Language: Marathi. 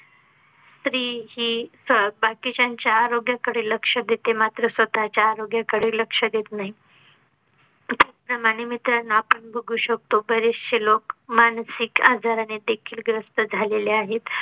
स्त्री हि बाकीच्यांच्या आरोग्याकडे लक्ष देते. मात्र स्वतः च्या आरोग्याकडे लक्ष देत नाही त्याच प्रमाणे मित्रांनो पण बघू शकतो. बरेचसे लोक मानसिक आजाराने देखील ग्रस्त झालेले आहेत